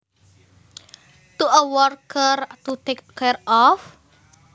to a worker to take care of